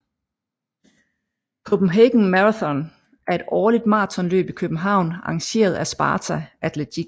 Copenhagen Marathon er et årligt maratonløb i København arrangeret af Sparta Atletik